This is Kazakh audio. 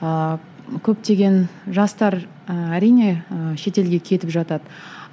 ыыы көптеген жастар ы әрине ы шетелге кетіп жатады